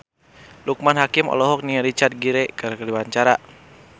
Loekman Hakim olohok ningali Richard Gere keur diwawancara